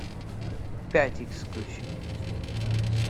пять икс включи